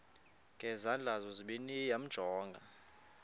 ngezandla zozibini yamjonga